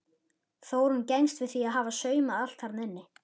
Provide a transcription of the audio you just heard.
Þórunn gengst við því að hafa saumað allt þarna inni.